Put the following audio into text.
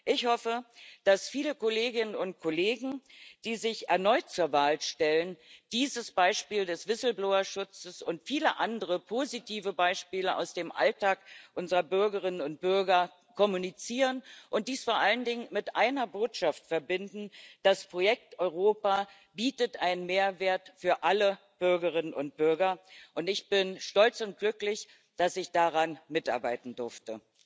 Ich hoffe, dass viele Kolleginnen und Kollegen, die sich erneut zur Wahl stellen, dieses Beispiel des Whistleblower Schutzes und viele andere positive Beispiele aus dem Alltag unserer Bürgerinnen und Bürger kommunizieren, und dies vor allen Dingen mit einer Botschaft verbinden Das Projekt Europa bietet einen Mehrwert für alle Bürgerinnen und Bürger, und ich bin stolz und glücklich, dass ich daran mitarbeiten durfte.